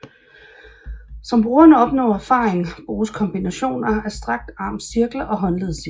Som brugeren opnår erfaring bruges kombinationer af strakt arms cirkler og håndleds cirkler